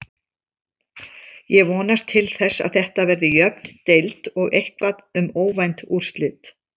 Ég vonast til þess að Þetta verði jöfn deild og eitthvað um óvænt úrslit.